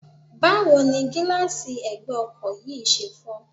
Báwo ni gíláàsì ẹ̀gbẹ́ ọkọ̀ yìí ṣe fọ́?